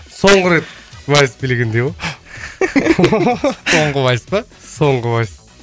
соңғы рет вальс билегендей ғой соңғы вальс па соңғы вальс